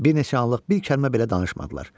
Bir neçə anlıq bir kəlmə belə danışmadılar.